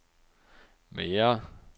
mere